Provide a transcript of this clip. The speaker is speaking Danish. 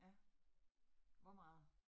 Ja. Hvor meget